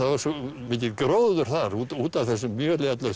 var svo mikill gróður þar út af þessu mjöli öllu